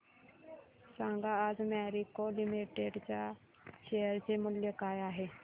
सांगा आज Marico limited च्या शेअर चे मूल्य काय आहे